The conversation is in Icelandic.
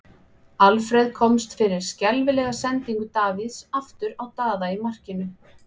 Alfreð komst fyrir skelfilega sendingu Davíðs aftur á Daða í markinu.